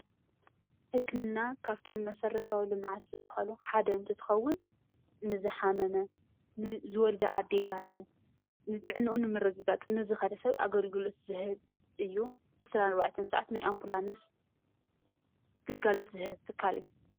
ሕክምና ካብቶም መሰረታዊ ልምዓት ዝበሃሉ ሓደ እንትትኸውን ንዝሓመመ፣ ንዝወልዳ ኣዴታት፣ ንጥዕንኡ ንምረግጋፅ ዝኸደ ሰብ ኣገልግሎት ዝህብ እዩ። ን24 ሰዓት ኣንቡላንስ ግልጋሎት ዝህብ ትካል።